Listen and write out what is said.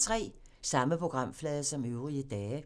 Samme programflade som øvrige dage